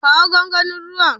Kawo gwangwanin ruwan.